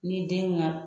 Ni den ka